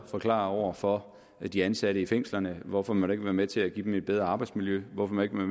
forklare over for de ansatte i fængslerne hvorfor man ikke vil være med til at give dem et bedre arbejdsmiljø hvorfor man ikke vil